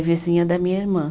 Vizinha da minha irmã.